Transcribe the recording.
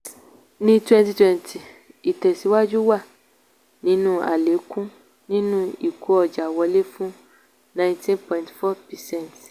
ní twenty twenty ìtẹ̀síwájú wà nínú àlékún nínú ìkó ọjà wọlé fún nineteen point four percent.